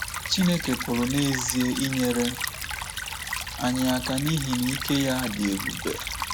Chineke pụrụ n’ezie inyere anyị aka n’ihi na ike ya dị ebube.